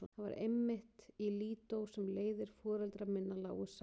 Það var einmitt í Lídó sem leiðir foreldra minna lágu saman.